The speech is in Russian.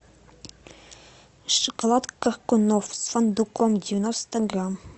шоколад коркунов с фундуком девяносто грамм